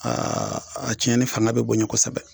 Aa a tiɲɛni fana bɛ bonya kosɛbɛ